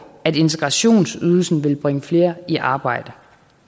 at integrationsydelsen vil bringe flere i arbejde